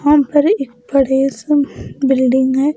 यहाँ पर एक बड़े से में बिल्डिंग है।